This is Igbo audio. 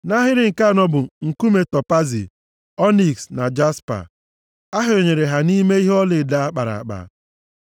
Nʼahịrị nke anọ bụ: nkume topaazi, ọniks na jaspa. Ahịọnyere ha nʼime ihe ọlaedo a kpara akpa.